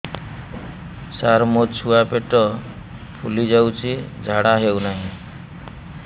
ସାର ମୋ ଛୁଆ ପେଟ ଫୁଲି ଯାଉଛି ଝାଡ଼ା ହେଉନାହିଁ